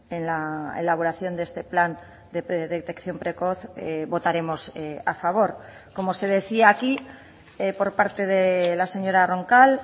en la elaboración de este plan de detección precoz votaremos a favor como se decía aquí por parte de la señora roncal